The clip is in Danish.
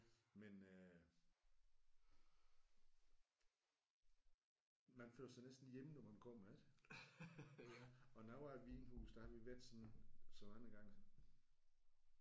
Men øh man føler sig næsten hjemme når man kommer ik? Og nogle af vinhusene der har vi været så så mange gange